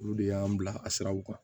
Olu de y'an bila a siraw kan